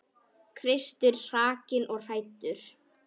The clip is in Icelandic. Kristur hrakinn og hæddur.